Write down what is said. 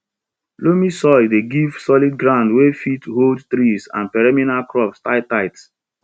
loamy soil dey give solid ground wey fit hold trees and perennial crops tight tight